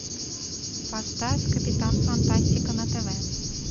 поставь капитан фантастика на тв